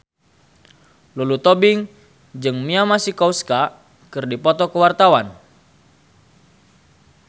Lulu Tobing jeung Mia Masikowska keur dipoto ku wartawan